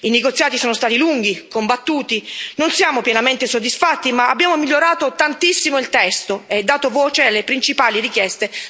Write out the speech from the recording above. I negoziati sono stati lunghi, combattuti, non siamo pienamente soddisfatti, ma abbiamo migliorato tantissimo il testo e dato voce alle principali richieste della piccola pesca.